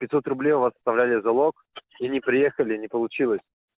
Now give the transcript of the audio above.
пятьсот рублей у вас оставляли залог и не приехали не получилось